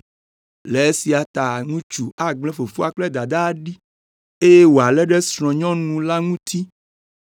Le esia ta ŋutsu agble fofoa kple dadaa ɖi, eye wòalé ɖe srɔ̃nyɔnu la ŋuti